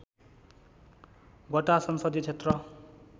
वटा संसदीय क्षेत्र